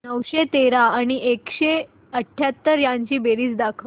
नऊशे तेरा आणि एकशे अठयाहत्तर यांची बेरीज दाखव